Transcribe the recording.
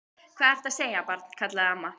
Hvað ertu að segja, barn? kallaði amma.